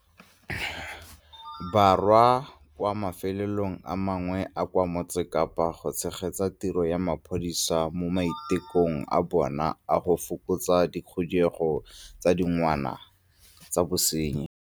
Borwa kwa mafelong a mangwe a a kwa Motse Kapa go tshegetsa tiro ya mapodisa mo maitekong a bona a go fokotsa dikhuduego tsa digongwana tsa bosenyi.